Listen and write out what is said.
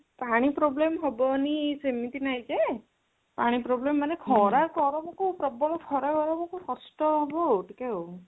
ପାଣି problem ହବନି ସେମିତି ନାହିଁ ଯେ ପାଣି problem ମାନେ ଖରା ଗରମ କୁ ପ୍ରବଳ ଖରା ଗରମ କୁ କଷ୍ଟ ହବ ଟିକେ ଆଉ